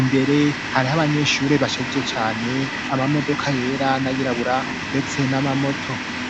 imbere hariho abanyeshuri bashajije cane, amamodoka yera n'ayirabura ndetse n'amamoto.